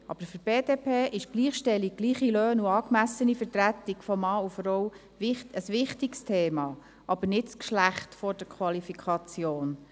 Für die BDP ist Gleichstellung, gleiche Löhne und angemessene Vertretung von Mann und Frau, ein wichtiges Thema, aber nicht das Geschlecht vor der Qualifikation.